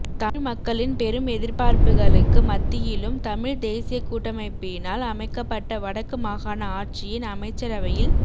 தமிழ் மக்களின் பெரும் எதிர்பார்ப்புக்களுக்கு மத்தியிலும் தமிழ்த் தேசியக் கூட்டமைப்பினால் அமைக்கப்பட்ட வடக்கு மாகாண ஆட்சியின் அமைச்சரவையில்